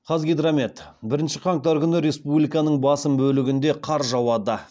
қазгидромет бірінші қаңтар күні республиканың басым бөлігінде қар жауады